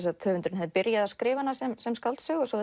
höfundurinn hefði byrjað að skrifa hana sem sem skáldsögu svo